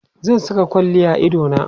zan Saka kwalli a idona